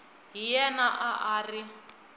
hi yena a a ri